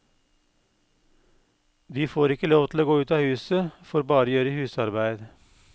De får ikke lov til å gå ut av huset, får bare gjøre husarbeid.